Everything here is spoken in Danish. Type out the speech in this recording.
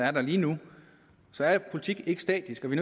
er der lige nu så er politikken ikke statisk og vi